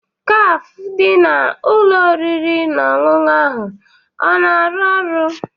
Kafe dị na ụlọ oriri na ọṅụṅụ ahụ o na-arụ ọrụ?